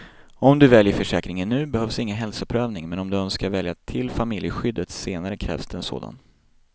Om du väljer försäkringen nu behövs ingen hälsoprövning, men om du önskar välja till familjeskyddet senare krävs det en sådan.